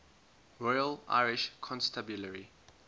royal irish constabulary